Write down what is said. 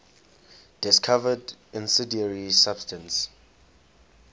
discovered incendiary substance